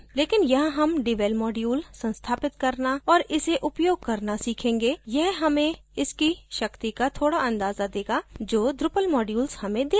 लेकिन यहाँ हम devel module संस्थापित करना और इसे उपयोग करना सीखेंगे यह हमें इसकी शक्ती का थोड़ा अंदाज़ा देगा जो drupal modules हमें दे सकते हैं